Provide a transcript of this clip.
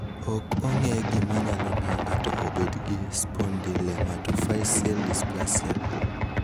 Ok ong'e gima nyalo miyo ng'ato obed gi spondylometaphyseal dysplasia.